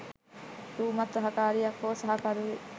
රූමත් සහකාරියක් හෝ සහකරුවෙක්